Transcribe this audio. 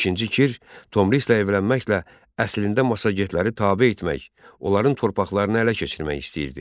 İkinci Kir, Tomrislə evlənməklə əslində massagetləri tabe etmək, onların torpaqlarını ələ keçirmək istəyirdi.